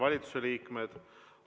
Valitsuse liikmed!